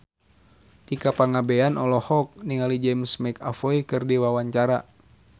Tika Pangabean olohok ningali James McAvoy keur diwawancara